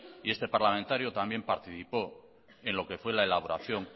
y este parlamentario también participó en lo que fue en la elaboración